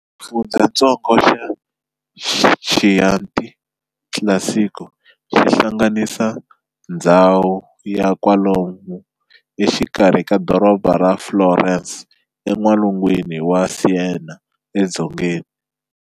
Xifundzhantsongo xa Chianti Classico xi hlanganisa ndzhawu ya kwalomu exikarhi ka doroba ra Florence en'walungwini na Siena edzongeni.